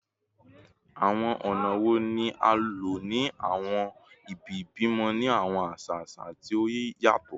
Awọn ọna wo ni a lo ni awọn ibi-ibimọ ni awọn aṣa aṣa ti o yatọ?